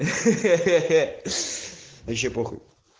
хе-хе-хе вообще похуй